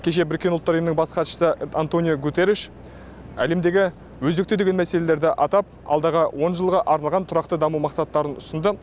кеше біріккен ұлттар ұйымының бас хатшысы антониу гуттериш әлемдегі өзекті деген мәселелерді атап алдағы он жылға арналған тұрақты даму мақсаттарын ұсынды